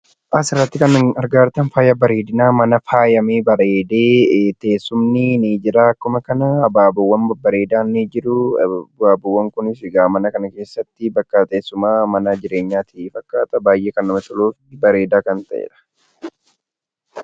Suuraa kanaa gadii irraa kan mul'atu mana faayyaa faayyamee bareedee, teessumni fi abaaboonis kan jiraanii fi mana jureenyaa kan namatti toluu dha.